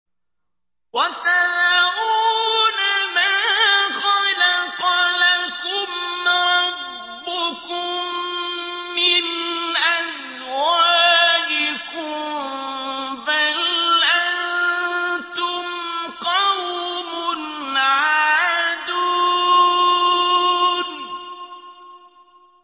وَتَذَرُونَ مَا خَلَقَ لَكُمْ رَبُّكُم مِّنْ أَزْوَاجِكُم ۚ بَلْ أَنتُمْ قَوْمٌ عَادُونَ